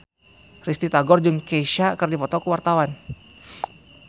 Risty Tagor jeung Kesha keur dipoto ku wartawan